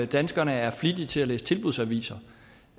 danskerne er flittige til at læse tilbudsaviser